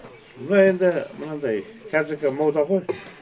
мына енді мынадай қазіргі мода ғой